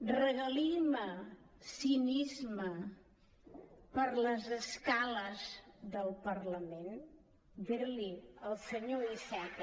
regalima cinisme per les escales del parlament dir li al senyor iceta